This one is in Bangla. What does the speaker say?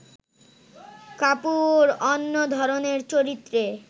কাপুর অন্য ধরনের চরিত্রে